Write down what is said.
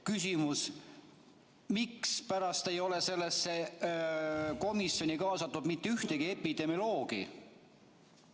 Küsimus: mispärast ei ole sellesse komisjoni kaasatud mitte ühtegi epidemioloogi?